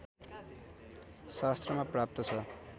शास्त्रमा प्राप्त छ